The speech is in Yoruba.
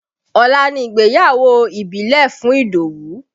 Ọ̀la ni ìgbéyàwó ìbílẹ̀ fún Idowu